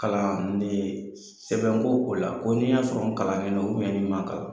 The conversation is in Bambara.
Kalan ni sɛbɛn ko ko la, ko n'i y'a sɔrɔ n kalannen don ni ma kalan.